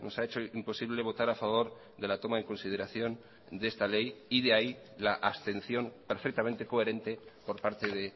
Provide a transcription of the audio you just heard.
ha hecho imposible votar a favor de la toma en consideración de esta ley y de ahí la abstención perfectamente coherente por parte de